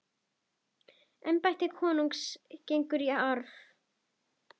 Embætti konungs gengur í arf.